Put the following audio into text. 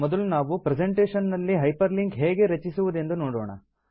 ಮೊದಲು ನಾವು ಪ್ರೆಸೆಂಟೇಷನ್ ನಲ್ಲಿ ಹೈಪರ್ ಲಿಂಕ್ ಹೇಗೆ ರಚಿಸುವುದೆಂದು ನೋಡೋಣ